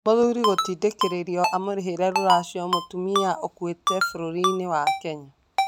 Mũthuri gũtindĩkĩrĩrio amurĩhĩre ruracio mũtumia ũkuĩte Kenya